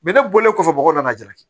ne bɔlen kɔfɛ mɔgɔw nana ja